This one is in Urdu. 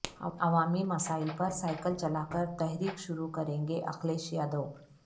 عوامی مسائل پر سائیکل چلا کر تحریک شروع کریں گےاکھلیش یادو